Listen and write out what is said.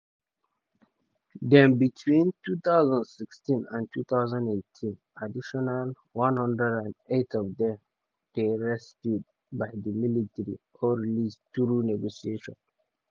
then between 2016 and 2018 additional 108 of dem dey rescued by di military or released through negotiation.